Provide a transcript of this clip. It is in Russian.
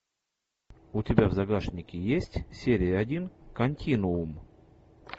у тебя в загашнике есть серия один континуум